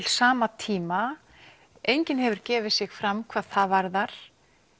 sama tíma enginn hefur gefið sig fram hvað það varðar